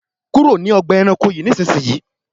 kúrò ní Ọgbà ẹranko yi nísìsiyìí!